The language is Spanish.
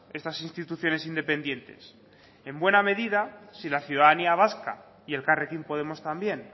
estas instituciones independientes en buena medida si la ciudadanía vasca y elkarrekin podemos también